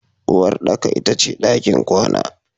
Uwarɗaka ita ce ɗakin kwana.